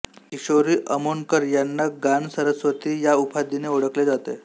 किशोरी अमोणकर यांना गानसरस्वती या उपाधीने ओळखले जाते